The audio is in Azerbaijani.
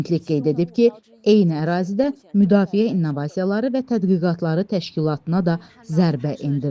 Agentlik qeyd edib ki, eyni ərazidə Müdafiə innovasiyaları və Tədqiqatları təşkilatına da zərbə endirilib.